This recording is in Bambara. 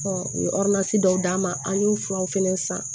u ye dɔw d'a ma an y'o furaw fɛnɛ san